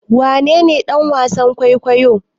Wanene dan wasan kwaikwayo?